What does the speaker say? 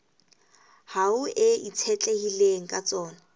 hao e itshetlehileng ka tsona